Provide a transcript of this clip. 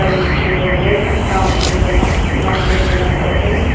am bu chu nganle ham kha ma chu zang nak nak le ngan ang kaple.